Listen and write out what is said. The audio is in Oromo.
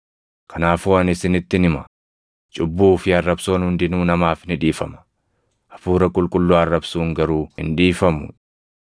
Kanaafuu ani isinittin hima; cubbuu fi arrabsoon hundinuu namaaf ni dhiifama; Hafuura Qulqulluu arrabsuun garuu hin dhiifamu.